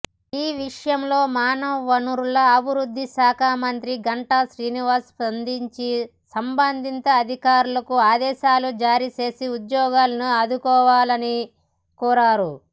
ఈ విషయంలో మానవవనరుల అభివృద్ధిశాఖమంత్రి గంటా శ్రీనివాసరావు స్పందించి సంబంధిత అధికారులకు ఆదేశాలు జారీ చేసి ఉద్యోగులను ఆదుకోవాలని కోరారు